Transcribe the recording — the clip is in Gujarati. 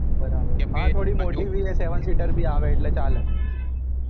બરાબર પાંચ વાળી થોડી મોટી ભી છે seven seater ભી આવે એટલે ચાલ